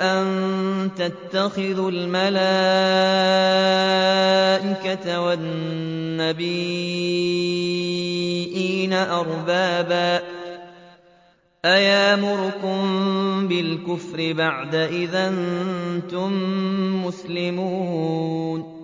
أَن تَتَّخِذُوا الْمَلَائِكَةَ وَالنَّبِيِّينَ أَرْبَابًا ۗ أَيَأْمُرُكُم بِالْكُفْرِ بَعْدَ إِذْ أَنتُم مُّسْلِمُونَ